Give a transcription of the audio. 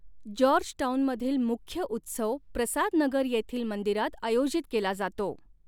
जॉर्जटाउनमधील मुख्य उत्सव प्रसाद नगर येथील मंदिरात आयोजित केला जातो.